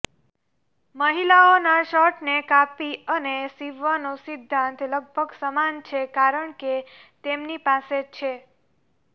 મહિલાઓના શર્ટને કાપી અને સીવવાનો સિદ્ધાંત લગભગ સમાન છે કારણ કે તેમની પાસે છે